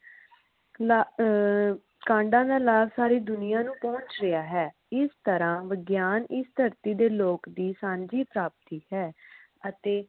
ਕਲਾ ਅਹ ਕਾਂਡਾ ਦਾ ਲਾਭ ਪੂਰੀ ਦੁਨੀਆਂ ਨੂੰ ਪਹੁਚ ਰਿਹਾ ਹੈ ਇਸ ਤਰਾਂ ਵਿਗਿਆਨ ਇਸ ਧਰਤੀ ਦੇ ਲੋਕ ਦੀ ਸਾਂਝੀ ਪ੍ਰਾਪਤੀ ਹੈ ਅਤੇ